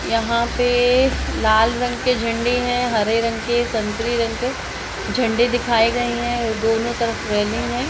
यहाँ पे लाल रंग के झण्डे हें हरे रंग के संतरी रंग के झंडे दिखाई गये हें दोनों तरफ रेलिंग हें।